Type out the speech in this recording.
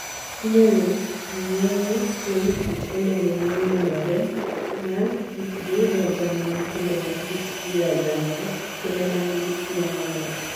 Inyalo ng'eye kuom kit olembe mong'inore, ma kitgi rajamna kendo ma kitgi rajamna, kendo ma nigi suya mamit.